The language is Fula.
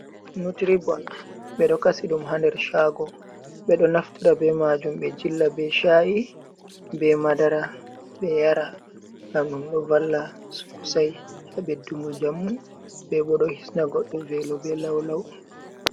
neutribon ɓe ɗo kasi ɗum haa nder shago, ɓe ɗo naftara bee maajum ɓe jilla bee sha’i bee madara ɓe yara ngam ɗum ɗo valla sosai haa beddugo njamu, bee bo ɗo hisna goddo veelo bee laulau.